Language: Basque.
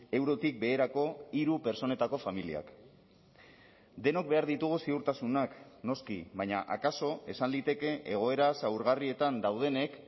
eurotik beherako hiru pertsonetako familiak denok behar ditugu ziurtasunak noski baina akaso esan liteke egoera zaurgarrietan daudenek